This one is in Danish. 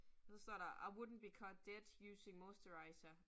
Og så står der, I wouldn't be caught dead using moisturizer